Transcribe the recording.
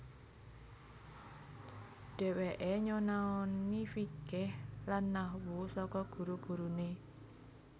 Dheweke nyonaoni fikih lan nahwu saka guru gurune